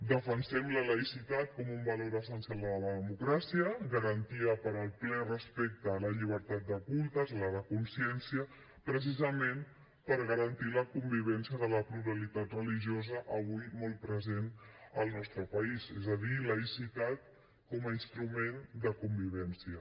defensem la laïcitat com un valor essencial de la democràcia garantia per al ple respecte a la llibertat de cultes a la de consciència precisament per garantir la convivència de la pluralitat religiosa avui molt present al nostre país és a dir laïcitat com a instrument de convivència